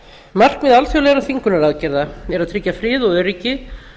markmið alþjóðlegra þvingunaraðgerða er að tryggja frið og öryggi